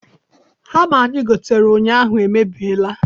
Hama anyị gotere ụnyaahụ emebiela.